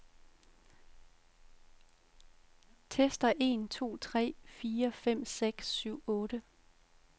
Tester en to tre fire fem seks syv otte.